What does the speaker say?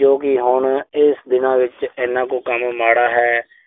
ਜੋ ਕਿ ਹੁਣ ਇਸ ਦਿਨਾਂ ਵਿੱਚ ਐਨਾ ਕੁ ਕੰਮ ਮਾੜਾ ਹੈ।